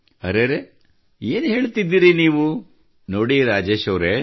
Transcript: ಅರೆರೆ ನೀವು ಏನು ಹೇಳುತ್ತಿದ್ದೀರಿ ನೋಡಿ ರಾಜೇಶ್ ಅವರೇ